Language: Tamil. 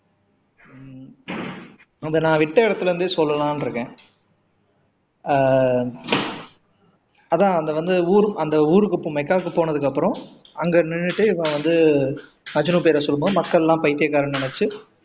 இதை நான் விட்ட இடத்துல இருந்தே சொல்லலாம்னு இருக்கேன் ஆஹ் அதான் அது வந்து ஊரு அந்த ஊருக்கு இப்போ மக்காவுக்கு போனதுக்கு அப்பறம் அங்க நின்னுட்டு இவன் வந்து மஜ்னு பேர சொல்லும் போது மக்கள் எல்லாம் பைத்தியகாரன்னு நினைச்சு